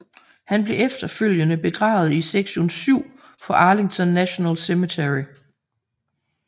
Han blev efterfølgende begravet i sektion 7 på Arlington National Cemetery